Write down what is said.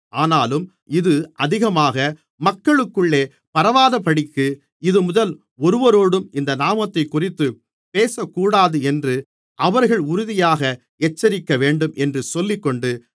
ஆனாலும் இது அதிகமாக மக்களுக்குள்ளே பரவாதபடிக்கு இதுமுதல் ஒருவரோடும் இந்த நாமத்தைக்குறித்துப் பேசக்கூடாதென்று அவர்களை உறுதியாக எச்சரிக்கவேண்டும் என்று சொல்லிக்கொண்டு